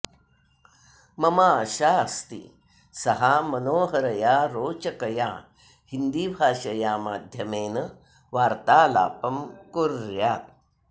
मम आशा अस्ति सः मनोहरया रोचकया हिन्दीभाषया माध्यमेन वार्तालापं कुर्यात्